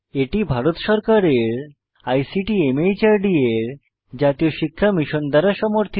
এটি ভারত সরকারের ICT MHRD এর জাতীয় শিক্ষা মিশন দ্বারা সমর্থিত